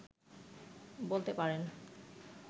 বলতে পারেন